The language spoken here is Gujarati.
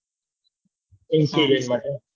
હા તે માટે